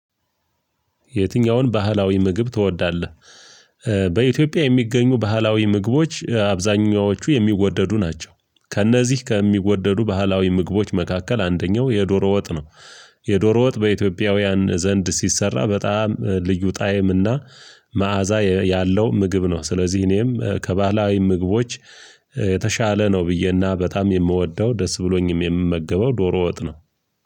የትኛውን ባህላዊ ምግብ ትወዳለህ? በኢትዮጵያ የሚገኙ ባህላዊ ምግቦች አብዛኛዎቹ የሚወደዱ ናቸው ከእነዚህ ከሚወደዱ ባህላዊ ምግቦች መካከል አንደኛው የዶሮ ወጥ ነው። የዶሮ ወጥ በኢትዮጵያውያን ዘንድ ሲሰራ በጣም ልዩ ጣይም እና መዓዛ ያለው ምግብ ነው። ስለዚህ እኔም ከባህላዊ ምግቦች የተሻለ ነው ብዬና በጣም የምወደው ደስ ብሎኝም የምመገበው ዶሮ ወጥ ነው።